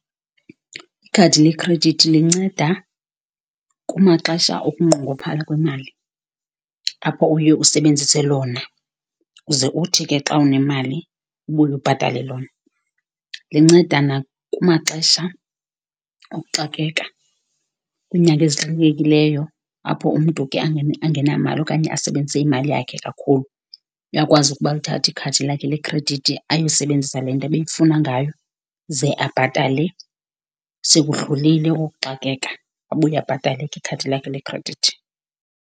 Ikhadi lekhredithi linceda kumaxesha okunqongophala kwemali, apho uye usebenzise lona uze uthi ke xa unemali ubuye ubhatale lona. Linceda nakumaxesha okuxakeka, kwiinyanga ezixakekileyo, apho umntu ke angenamali okanye asebenzise imali yakhe kakhulu. Uyakwazi ukuba alithathe ikhadi lakhe lekhredithi ayosebenzisa le nto ebeyifuna ngayo, ze abhatale sekudlulile ukuxakeka, abuye abhatale ke ikhadi lakhe lekhredithi.